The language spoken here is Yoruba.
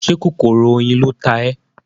Ṣé kòkòrò oyin ló ta ẹ́?